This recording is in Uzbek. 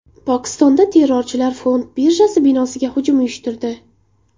Pokistonda terrorchilar fond birjasi binosiga hujum uyushtirdi.